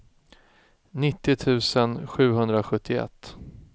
nittio tusen sjuhundrasjuttioett